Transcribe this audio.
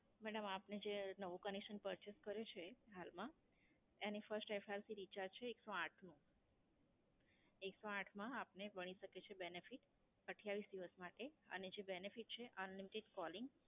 Madam આપને જે નવું Conection Purchase કર્યું છે હાલમાં, એનું FirstFRCRecharge છે એકસો આઠનું. એકસો આઠમા આપણે મળી શકે છે benefit અઠયાવીસ દિવસ માટે, અને જે benefit છે, Unlimited Calling